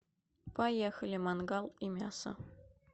поехали мангал и мясо